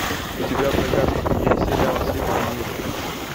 у тебя в загашнике есть сериал все ненавидят криса